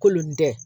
Kolon tɛ